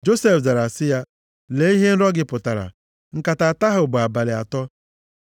Josef zara sị ya, “Lee ihe nrọ gị pụtara. Nkata atọ ahụ bụ abalị atọ.